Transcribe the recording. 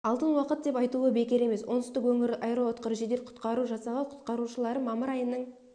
алтын уақыт деп айтуы бекер емес оңтүстік өңірлік аэроұтқыр жедел құтқару жасағы құтқарушылары мамыр айының